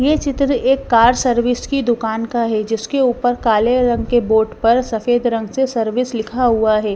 ये चित्र एक कार सर्विस की दुकान का है जिसके ऊपर काले रंग के बोर्ड पर सफेद रंग से सर्विस लिखा हुआ है।